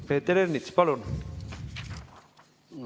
Peeter Ernits, palun!